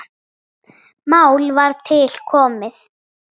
Mál var til komið.